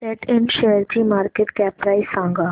सॅट इंड शेअरची market cap price सांगा